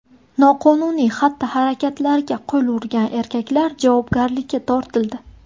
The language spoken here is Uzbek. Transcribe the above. Noqonuniy xatti-harakatlarga qo‘l urgan erkaklar javobgarlikka tortildi.